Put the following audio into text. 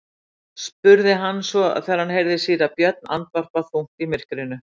spurði hann svo þegar hann heyrði síra Björn andvarpa þungt í myrkrinu.